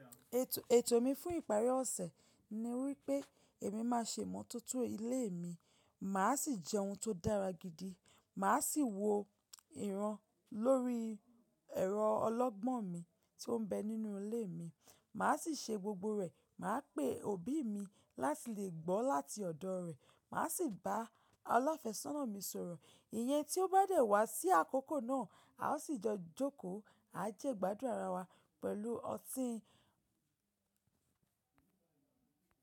Ètò, ètò mi fún ìparí ọ̀sẹ̀ ni wípé èmi máa ṣe ìmọ̀tótó ilé mi, mà á sì jẹ ohun tó dára gidi, mà á sì wo ìran lórí ẹ̀rọ ọlọ́gbọ́n mi tí ó ń bẹ nínú ilé mi, mà á sì ṣe gbogbo rẹ̀, mà á pè òbí mi láti lè gbọ́ láti ọ̀dọ̀ rẹ̀, mà á sì bá alafe sónà mi sọ̀rọ̀. Ìyẹn tí ó bá dẹ̀ wá sí àkókò náà, a ó sì jọ jókòó, a jẹ ìgbádùn ara wa pẹ̀lú ọtí.